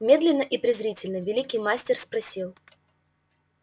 медленно и презрительно великий мастер спросил